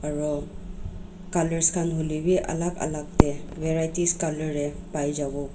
aro colors khan hoi lebi alag alag te varieties color te pai jabo.